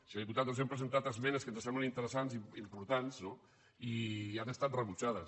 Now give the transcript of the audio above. senyor diputat els hem presentat esmenes que ens semblen interessants importants no i han estat rebutjades